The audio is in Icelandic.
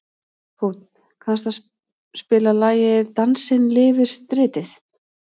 Húnn, kanntu að spila lagið „Dansinn lifir stritið“?